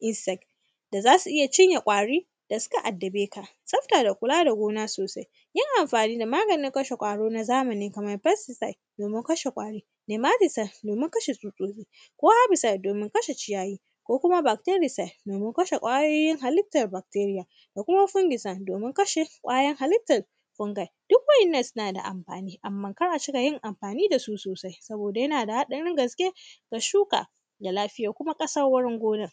insect” da za su iya cinye ƙwari da sika addabe ka. Tsafta da kula da gona sosai, yin amfani da maganin kashe ƙwari na zamani kamar “pestcides”, domin kashe ƙwari, “memadisel”, domin kashe tsutsotsi ko “herbicide”, domin kashe ciyayi ko kuma”bactebicide”, domin kashe ƙwayoyin halittar bakteriya da kuma “fungicide”, domin kashe ƙwayoyin halittar fungai. Duk wa’innan sina da amfani, amma kar a cika yin amfani da su sosai, saboda yana da haɗarin gaske ga shuka da lafiya kuma ƙasarorin gona.